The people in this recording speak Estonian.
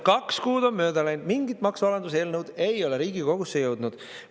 Kaks kuud on mööda läinud, mingit maksualanduseelnõu ei ole Riigikogusse jõudnud.